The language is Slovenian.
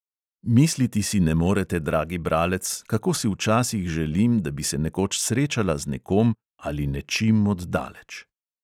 Misliti si ne morete, dragi bralec, kako si včasih želim, da bi se nekoč srečala z nekom ali nečim od daleč!